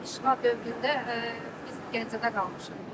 İşğal dövründə biz Gəncədə qalmışıq.